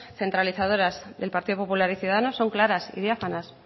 centralizadoras del partido popular y ciudadanos son claras y diáfanas